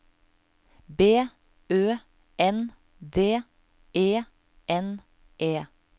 B Ø N D E N E